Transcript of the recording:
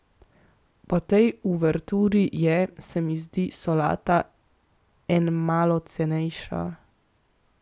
Po tej uverturi je, se mi zdi, solata enmalo cenejša.